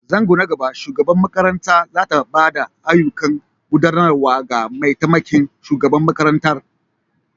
Zango na gaba, shugabar makarantar za ta ba da ayyukan gudanarwa ga mataimakin shugaban makarantar.